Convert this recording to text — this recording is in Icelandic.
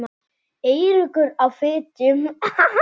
Eiríkur á Fitjum.